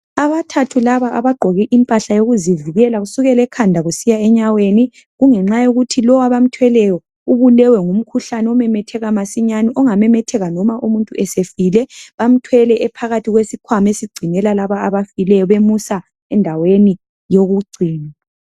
Abathathu laba abagqoke impahla yokuvikela kusukela ekhanda kusiya enyaweni kungenxa yokuthi lowo abamthweleyo ubulewe ngumkhuhlane omemetheka masinyane, ongamemetheka loba umuntu esefile. Bamthwele ephakathi kwesikhwama esigcinelwa labo abafileyo bemusa endaweni yogcina.